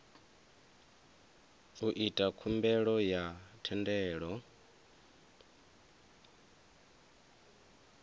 u ita khumbelo ya thendelo